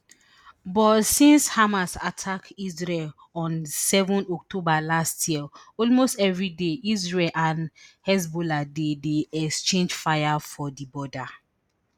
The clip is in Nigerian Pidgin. but since hamas attack israel on seven october last year almost evri day israel and hezbollah dey dey exchange fire for di border